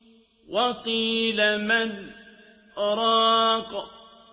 وَقِيلَ مَنْ ۜ رَاقٍ